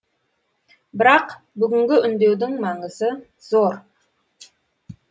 бірақ бүгінгі үндеудің маңызы зор